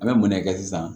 An bɛ munɛ kɛ sisan